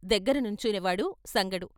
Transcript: దగ్గర నుంచునేవాడు సంగడు.